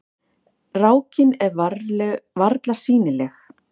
Rákin er varla sýnileg.